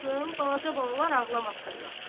balaca balalar ağlamasınlar.